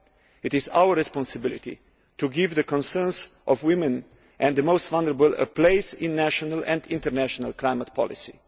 It is our responsibility to give the concerns of women and the most vulnerable a place in national and international climate policy.